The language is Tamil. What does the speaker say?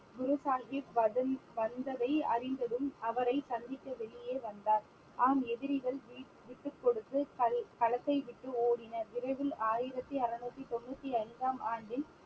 குரு சாஹிப் வதந்~ வந்ததை அறிந்ததும் அவரை சந்திக்க வெளியே வந்தார் ஆம் எதிரிகள் வீ~ விட்டுக் கொடுத்து கள்~ களத்தை விட்டு ஓடினர் விரைவில் ஆயிரத்தி அறுநூத்தி தொண்ணூத்தி ஐந்தாம் ஆண்டின்